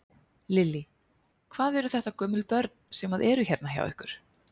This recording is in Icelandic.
Lillý: Hvað eru þetta gömul börn sem að eru hérna hjá ykkur?